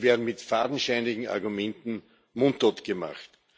Sie werden mit fadenscheinigen Argumenten mundtot gemacht.